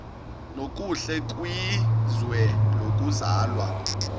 nokuhle kwizwe lokuzalwa